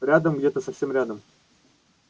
рядом где-то совсем рядом